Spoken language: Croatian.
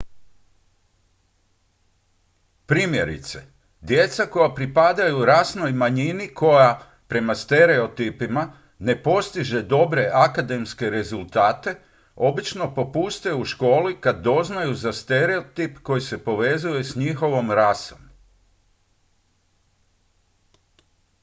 primjerice djeca koja pripadaj rasnoj manjini koja prema stereotipima ne postiže dobre akademske rezultate obično popuste u školi kad doznaju za stereotip koji se povezuje s njihovom rasom